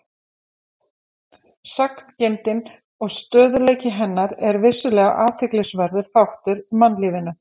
Sagngeymdin og stöðugleiki hennar er vissulega athyglisverður þáttur í mannlífinu.